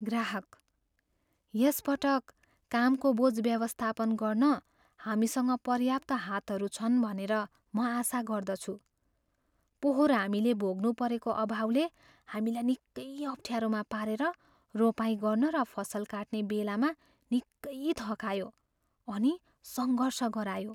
ग्राहकः "यस पटक कामको बोझ व्यवस्थापन गर्न हामीसँग पर्याप्त हातहरू छन् भनेर म आशा गर्दछु। पोहोर हामीले भोग्नुपरेको अभावले हामीलाई निकै अप्ठ्यारोमा पारेर रोपाइँ गर्न र फसल काट्नेबेलामा निकै थकायो अनि सङ्घर्ष गरायो। "